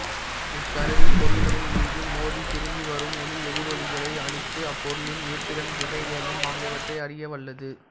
இக்கருவி பொருள்களின் மீது மோதி திரும்பி வரும் ஒலி எதிரொலிகளைக் கணித்து அப்பொருளின் இருப்பிடம் திசைவேகம் ஆகியவற்றை அறிய வல்லது